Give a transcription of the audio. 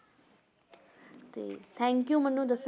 ਤੇ thank you ਮੈਨੂੰ ਦੱਸ~